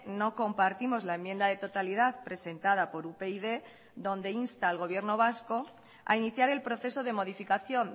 no compartimos la enmienda de totalidad presentada por upyd donde insta al gobierno vasco a iniciar el proceso de modificación